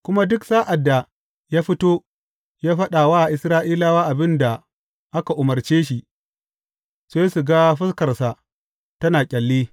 Kuma duk sa’ad da ya fito yă faɗa wa Isra’ilawa abin da aka umarce shi, sai su ga fuskarsa tana ƙyalli.